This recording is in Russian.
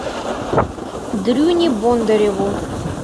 дрюне бондареву